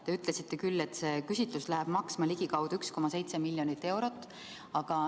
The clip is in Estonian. Te ütlesite küll, et see küsitlus läheb maksma ligikaudu 1,7 miljonit eurot.